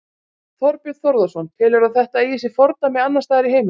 Þorbjörn Þórðarson: Telurðu að þetta eigi sér fordæmi annarsstaðar í heiminum?